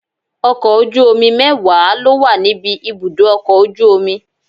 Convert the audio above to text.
Ọkọ̀ ojú omi mẹ́wàá ló wà níbi ibùdó ọkọ̀ ojú omi.